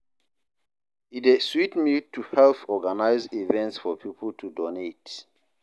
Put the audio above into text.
E dey sweet me to help organize events for people to donate.